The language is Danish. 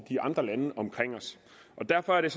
de andre lande omkring os derfor er det